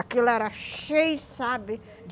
Aquilo era cheio, sabe?